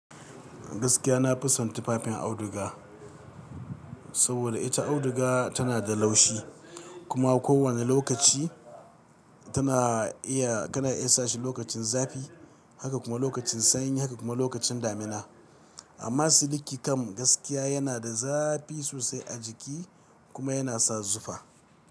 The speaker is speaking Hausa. Gaskiya na fison tufafin auduga, saboda ita auduga tana da laushi kuma ko wane lokaci tana iya, kana iya sa shi lokacin zafi, haka kuma lokacin sanyi, haka kuma lokacin damina. Amma siliki kam gaskiya yana da zafi sosai a jiki kuma yana sa zufa.